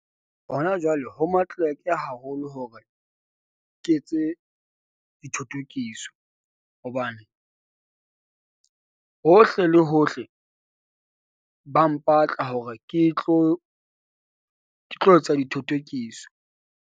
Hona jwale ho matleleke haholo hore ke etse dithothokiso hobane hohle le hohle. Ba mpatla hore ke tlo ke tlo etsa dithothokiso.